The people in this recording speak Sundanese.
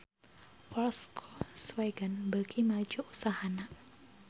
Volkswagen beuki maju usahana